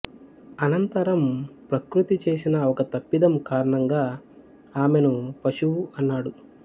అనంతరం ప్రకృతి చేసిన ఒక తప్పిదం కారణంగా ఆమెను పశువు అన్నాడు